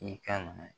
I kan nana